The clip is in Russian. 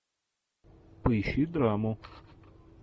поищи драму